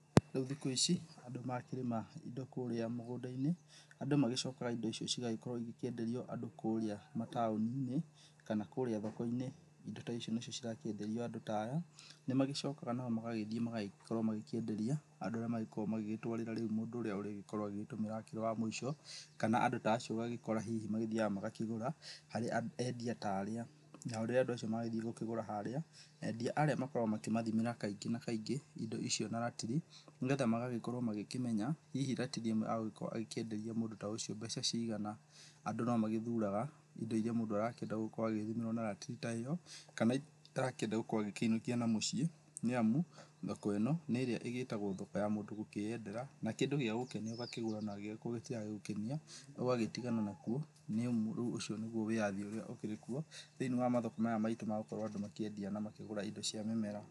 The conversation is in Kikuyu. Rĩu thikũ ici andũ makĩrĩma ĩndo kũrĩa mũgũnda-inĩ andũ magĩcokaga ĩndo icio cigagĩkorwo ĩgĩkĩenderio andũ kũrĩa mataoni-inĩ kana kũrĩa thoko-inĩ. Ĩndo ta ici nacio cirakĩenderio andũ ta aya nĩmagĩcokaga nao magagĩthĩĩ magakorwo magĩkĩenderia andũ arĩa magĩkoragwo magĩtwarĩra mũndũ ũrĩa ũrĩgĩkorwo agĩgĩtũmĩra akĩrĩ wa mũĩco, kana andũ ta acio ũgagĩkora hihi mathiyaga magakĩgũra harĩ andia ta arĩa. Nao andũ acio rĩrĩa magĩthĩĩ gũkĩgũra harĩa andia arĩa makoragwo makĩmathimĩra kaingĩ na kaingĩ ĩndo icio na ratiri, nĩgetha magagĩkorwo magĩkĩmenya hihi ratiri ĩmwe egũgĩkorwo akĩenderia mũndũ ta ũcio mbeca cigana. Andũ no magĩthuraga ĩndo ĩria mũndũ arakĩenda gũkorwo agĩthimĩrwo na ratiri ta ĩyo kana iria arakĩenda gũkĩinũkia na mũciĩ nĩamu thoko ĩno nĩ ĩrĩa ĩgĩtagwo thoko ya mũndũ gũkĩyendera na kĩndũ gĩa gũkenia ũgakĩgũra na kĩaga gũgũkenia ũgagĩtigana nakĩo, nĩamu rĩu ũcio nĩguo wĩyathi ũrĩa ũkĩrĩkuo thĩiniĩ wa mathoko maya maitũ andũ makĩendia na makĩgũra ĩndo cia mĩmera.